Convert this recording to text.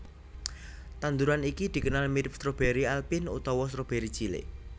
Tanduran iki dikenal mirip stroberi alpin utawa stroberi cilik